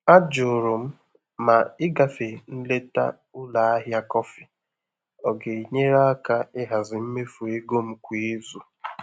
Ajụrụ m ma ịgafe nleta ụlọ ahịa kọfị ọ ga-enyere aka ịhazi mmefu ego m kwa izu.